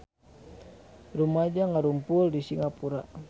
Rumaja ngarumpul di Singapura